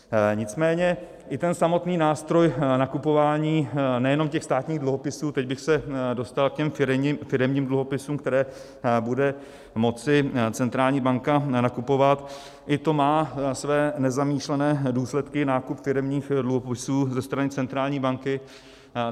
Nicméně i ten samotný nástroj nakupování nejenom těch státních dluhopisů, teď bych se dostal k těm firemní dluhopisům, které bude moci centrální banka nakupovat, i to má své nezamýšlené důsledky, nákup firemních dluhopisů ze strany centrální banky.